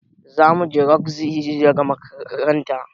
Zamuje rogzi daga makaranta